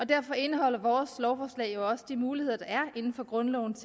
derfor indeholder vores lovforslag jo også de muligheder der er inden for grundlovens